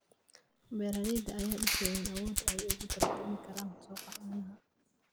Beeralayda ayaa dhisaya awoodda ay ugu tartami karaan suuqa caanaha.